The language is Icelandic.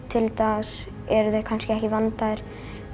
til dags eru þeir kannski ekki vandaðir